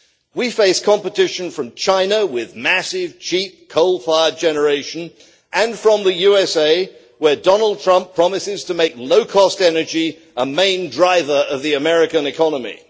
We face competition from China with massive cheap coal fired generation, and from the US where Donald Trump promises to make low cost energy a main driver of the US economy.